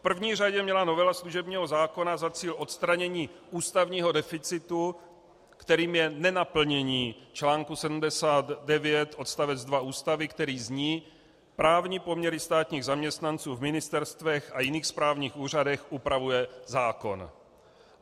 V první řadě měla novela služebního zákona za cíl odstranění ústavního deficitu, kterým je nenaplnění článku 79 odst. 2 Ústavy, který zní: Právní poměry státních zaměstnanců v ministerstvech a jiných správních úřadech upravuje zákon.